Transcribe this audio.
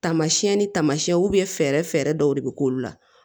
Tamasiyɛn ni taamasiyɛnw fɛɛrɛ dɔw de bɛ k'olu la